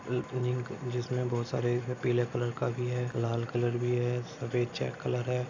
जिसमे बहुत सारे पिले कलर का भी हैं लाल कलर भी हैं सफ़ेद कलर हैं।